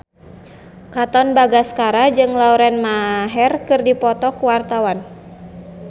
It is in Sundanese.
Katon Bagaskara jeung Lauren Maher keur dipoto ku wartawan